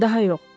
Daha yox.